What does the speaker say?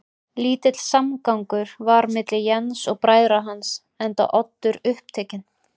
Lítill samgangur var milli Jens og bræðra hans, enda Oddur upptekinn